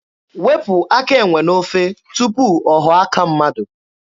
Wepụ aka enwe n'ofe tupu ọ ghọọ aka mmadụ.